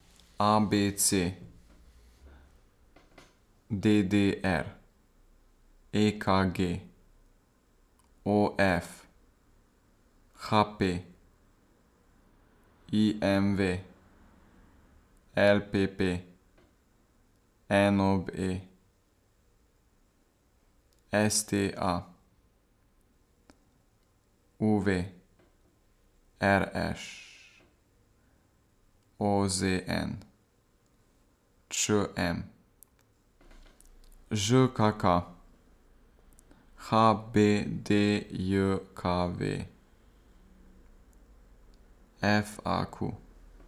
A B C; D D R; E K G; O F; H P; I M V; L P P; N O B; S T A; U V; R Š; O Z N; Č M; Ž K K; H B D J K V; F A Q.